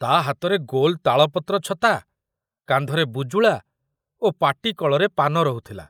ତା ହାତରେ ଗୋଲ ତାଳପତ୍ର ଛତା, କାନ୍ଧରେ ବୁଜୁଳା ଓ ପାଟି କଳରେ ପାନ ରହୁଥିଲା।